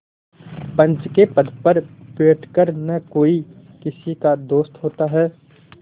पंच के पद पर बैठ कर न कोई किसी का दोस्त होता है